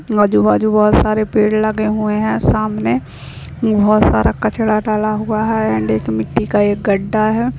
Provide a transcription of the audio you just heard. आजू-बाजू बहोत सारे पेड़ लगे हुए हैं सामने बहोत सारा कचरा डाला हुआ है एंड एक मिटटी का एक गड्ढा है।